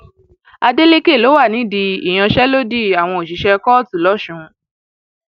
adeleke ló wà nídìí ìyanṣẹlódì àwọn òṣìṣẹ kóòtù lọsùn